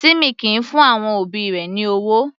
Timmy kìí fún àwọn òbí rẹ̀ ní ọwọ́.